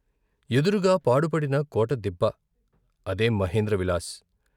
ఎదురుగా పాడుపడిన కోటదిబ్బ అదే మహేంద్ర విలాస్.